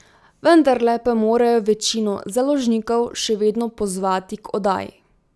Vendarle pa morajo večino založnikov še vedno pozvati k oddaji.